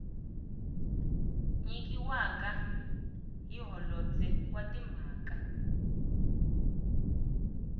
nyikiwaka hi holobye wa timhaka